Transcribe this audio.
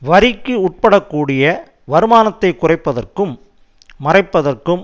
வரிக்கு உட்படக்கூடிய வருமானத்தை குறைப்பதற்கும் மறைப்பதற்கும்